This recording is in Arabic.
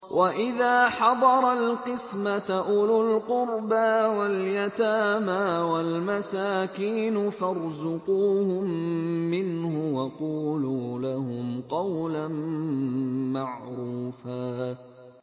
وَإِذَا حَضَرَ الْقِسْمَةَ أُولُو الْقُرْبَىٰ وَالْيَتَامَىٰ وَالْمَسَاكِينُ فَارْزُقُوهُم مِّنْهُ وَقُولُوا لَهُمْ قَوْلًا مَّعْرُوفًا